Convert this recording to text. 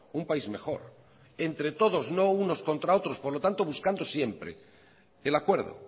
un país mejor entre todos no unos contra otros por lo tanto buscando siempre el acuerdo